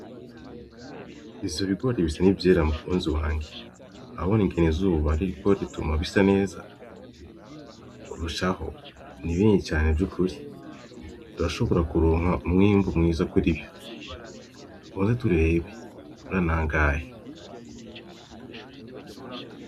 Ivyo bigore bisa n'ivyera mukunzi wanje, urabona ingene izuba ririko rituma bisa neza kurushaho, ni binini cane vyukuri, turashobora kuronka umwimbu mwiza kuri vyo, kwanza turabe mbe ni angahe.